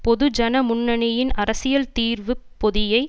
பொது ஜன முன்னணியின் அரசியல் தீர்வு பொதியை